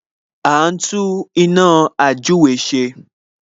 A ń tún iná ījúre ṣe